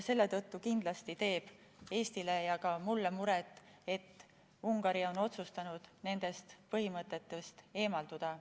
Seetõttu kindlasti teeb Eestile ja ka mulle muret, et Ungari on otsustanud nendest põhimõtetest eemalduda.